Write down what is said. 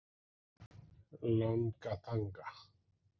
Langatanga